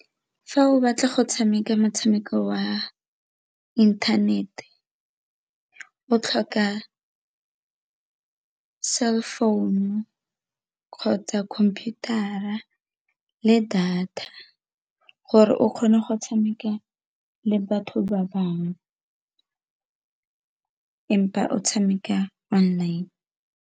Fa o batla go tshameka motshameko wa inthanete o tlhoka cell phone-u kgotsa khumputara le data gore o kgone go tshameka le batho ba bangwe empa o tshameka online.